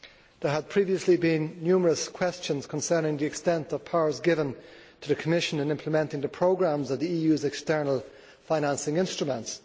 There had previously been numerous questions concerning the extent of powers given to the Commission in implementing the programmes of the EU's external financing instruments.